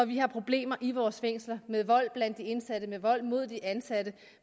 vi har problemer i vores fængsler med vold blandt de indsatte med vold mod de ansatte